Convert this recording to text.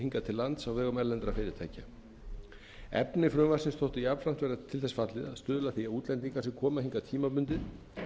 hingað til lands á vegum erlendra fyrirtækja efni frumvarpsins þótti jafnframt vera til þess fallið að stuðla að því að útlendingar sem koma hingað tímabundið